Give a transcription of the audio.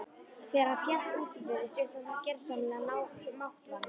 Þegar hann féll útbyrðis virtist hann gersamlega máttvana.